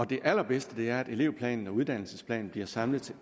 det allerbedste er at elevplanen og uddannelsesplanen bliver samlet